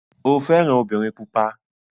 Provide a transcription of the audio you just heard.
O fẹ́ran obìnrin pupa.